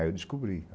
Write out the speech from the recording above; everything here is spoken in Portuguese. Aí eu descobri.